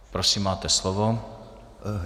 Prosím, máte slovo.